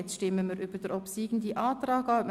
Wir stimmen nun über den obsiegenden Antrag ab.